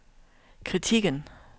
kritikken